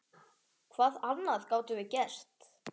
Hvað annað gátum við gert?